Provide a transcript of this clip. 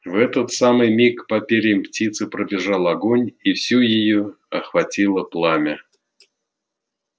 в этот самый миг по перьям птицы пробежал огонь и всю её охватило пламя